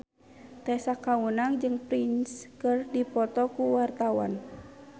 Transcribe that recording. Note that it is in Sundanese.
Tessa Kaunang jeung Prince keur dipoto ku wartawan